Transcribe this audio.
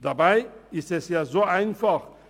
Dabei ist es ja so einfach.